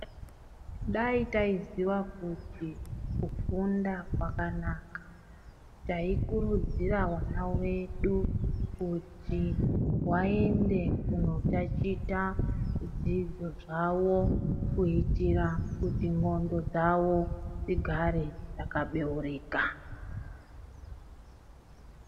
Dai taiziya kuti kupfunda kwakanaka taikurudzira vana vedu kuti vaende kunotachita zvidzido zvavo. Kuitira kuti ndxondo dzavo dzigare dzakabeurika.